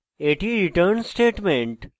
এটি return statement